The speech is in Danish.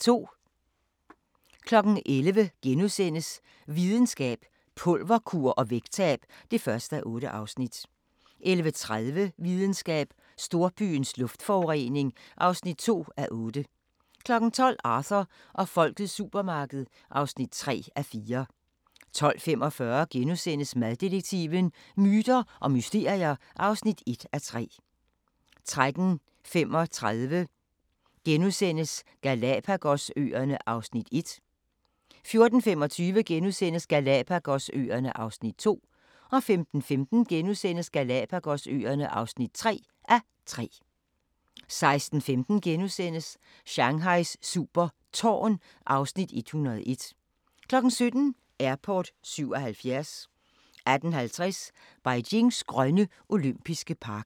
11:00: Videnskab: Pulverkur og vægttab (1:8)* 11:30: Videnskab: Storbyens luftforurening (2:8) 12:00: Arthur og Folkets supermarked (3:4) 12:45: Maddetektiven: Myter og mysterier (1:3)* 13:35: Galapagos-øerne (1:3)* 14:25: Galapagos-øerne (2:3)* 15:15: Galapagos-øerne (3:3)* 16:05: Shanghais super tårn (Afs. 101)* 17:00: Airport 77 18:50: Beijings grønne olympiske park